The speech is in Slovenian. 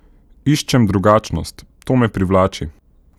Iščem drugačnost, to me privlači.